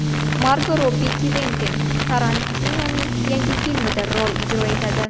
Margo Robbi Kventin Tarantinoning yangi filmida rol ijro etadi.